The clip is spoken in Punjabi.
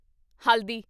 ਹਲਦੀ